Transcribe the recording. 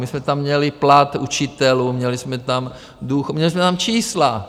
My jsme tam měli plat učitelů, měli jsme tam čísla.